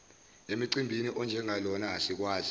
emcimbini onjengalona asikwazi